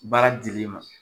Baara dil'i ma